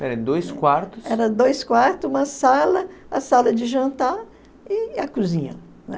dois quartos... Era dois quartos, uma sala, a sala de jantar e a cozinha, né?